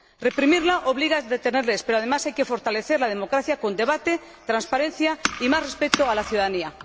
reprimirla obliga a detenerles, pero además hay que fortalecer la democracia con debate, transparencia y más respeto a la ciudadanía.